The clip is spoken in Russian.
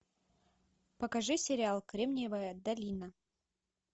покажи сериал кремниевая долина